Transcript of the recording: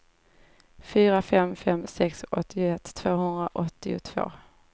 fyra fem fem sex åttioett tvåhundraåttiotvå